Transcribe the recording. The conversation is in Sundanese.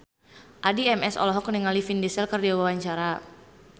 Addie MS olohok ningali Vin Diesel keur diwawancara